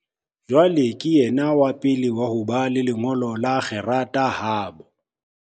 Jwale ke yena wa pele wa ho ba le lengolo la kgerata habo.